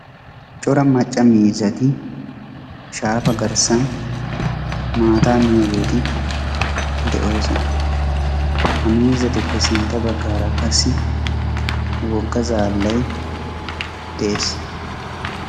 Cora macca miizzati shaafa garssan maataa miyiyageeti de'oosona. Ha miizzatuppe sintta baggaara qassi issi wogga zaallay de'ees.